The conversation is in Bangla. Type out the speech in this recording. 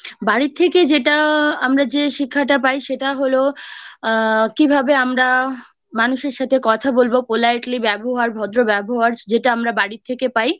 বাড়ির থেকে যেটা আমরা যে শেখাটা পাই সেটা হলো আ কিভাবে আমরা মানুষের সাথে কথা বলবো Politely ব্যবহার ভদ্র ব্যবহার যেটা আমরা বাড়ির থেকে পাই